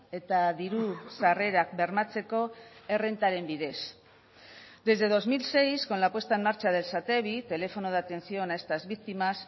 eta diru sarrerak bermatzeko errentaren bidez desde dos mil seis con la puesta en marcha del satevi teléfono de atención a estas víctimas